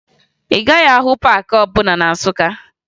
Ị gaghị ahụ paakị ọbụla na Nsụka